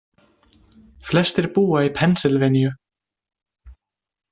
Flestir búa í Pennsylvaníu.